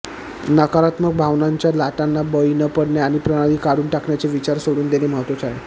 नकारात्मक भावनांच्या लाटांना बळी न पडणे आणि प्रणाली काढून टाकण्याचे विचार सोडून देणे महत्त्वाचे आहे